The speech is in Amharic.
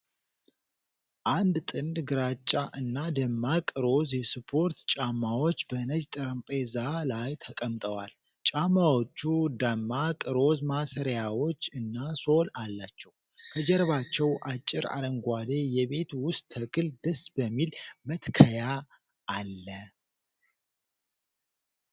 አንድ ጥንድ ግራጫ እና ደማቅ ሮዝ የስፖርት ጫማዎች በነጭ ጠረጴዛ ላይ ተቀምጠዋል። ጫማዎቹ ደማቅ ሮዝ ማሰሪያዎች እና ሶል አላቸው። ከጀርባው አጭር አረንጓዴ የቤት ውስጥ ተክል ደስ በሚል መትከያ አለ።